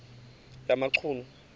yamachunu